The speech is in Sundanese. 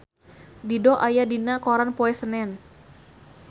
Dido aya dina koran poe Senen